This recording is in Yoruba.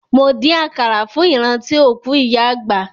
Mo dín àkàrà fún ìrántí òkú ìyá àgbà.